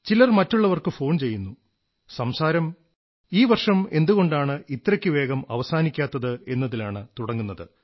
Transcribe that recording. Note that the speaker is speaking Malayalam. ചിലർ മറ്റുള്ളവർക്ക് ഫോൺ ചെയ്യുന്നു സംസാരം ഈ വർഷം എന്തുകൊണ്ടാണ് ഇത്രയ്ക്ക് വേഗം അവസാനിക്കാത്തത് എന്നതിലാണ് തുടങ്ങുന്നത്